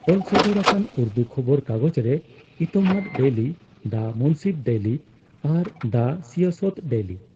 ᱚᱞᱥᱚᱫᱚᱨ ᱟᱠᱟᱱ ᱩᱨᱫᱩ ᱠᱷᱚᱵᱚᱨ ᱠᱟᱜᱚᱡᱽ ᱨᱮ Etemaad daily, the Munsif daily ᱟᱨ ᱫᱟ ᱥᱤᱭᱟᱥᱚᱛ ᱰᱮᱭᱞᱤ ᱾